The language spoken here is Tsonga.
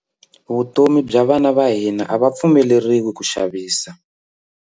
Vutomi bya vana va hina a va pfumeleriwi ku xavisa.